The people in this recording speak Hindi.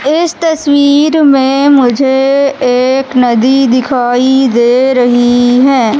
इस तस्वीर में मुझे एक नदी दिखाई दे रही है।